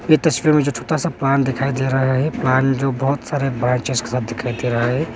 ये तस्वीर में जो छोटा सा बाल दिखाई दे रहा है बाल जो बहुत सारे जैसा दिखाई दे रहा है।